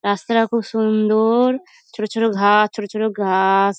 রাস্তাটা খুব সুন্দ-অ-র ছোট ছোট ঘাস ছোট ছোট ঘাস।